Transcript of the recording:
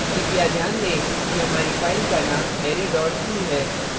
कृपया ध्यान दें कि हमारी फ़ाइल का name array c है